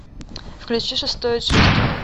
включи шестое чувство